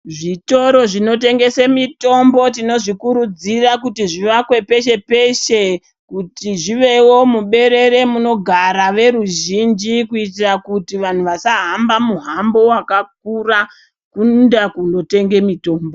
Zvitoro zvinotengese mitombo tino zvikurudzira kuti zvivakwe peshe-peshe, kuti zvivewo muberere munogara veruzhinji kuitira kuti vantu vasahamba muhambo wakakura kuenda kundotenga mutombo.